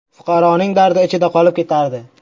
Fuqaroning dardi ichida qolib ketardi.